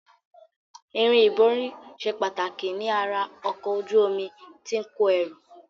Irin ìborí ṣe pàtàkì ní ara ọkọ̀ ojú omi tí ó ń kò ẹrù